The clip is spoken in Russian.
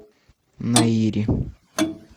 наири